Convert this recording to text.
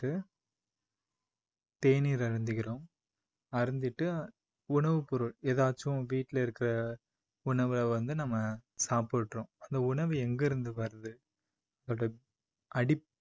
To தேநீர் அருந்துகிறோம் அருந்திட்டு உணவு பொருள் எதாச்சும் வீட்டுல இருக்க உணவை வந்து நம்ம சாப்பிடுறோம். அந்த உணவு எங்கிருந்து வருது அது அடி